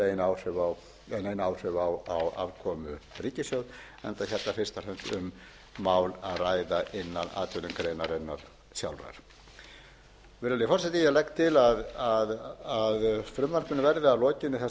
afkomu ríkissjóðs enda hérna fyrst og fremst um mál að ræða innan atvinnugreinarinnar sjálfrar virðulegi forseti ég legg til að frumvarpinu verði að lokinni þessari umræðu vísað til háttvirtrar